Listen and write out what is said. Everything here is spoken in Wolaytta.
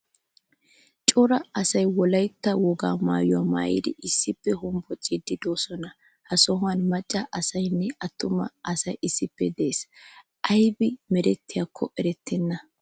Cora asay wolaytta woga maayuwaa maayidi issippe hombboccidi deosona. Ha sohuwan macca asaynne attuma asay issippe de'ees. Aybi meretako erettenna.